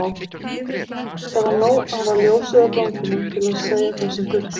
Það var nóg að hafa ljósið á ganginum til að segja það sem þurfti.